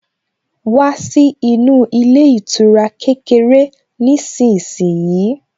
Wá sí inú ilé ìtura kékeré nísinsìnyí